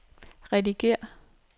redigér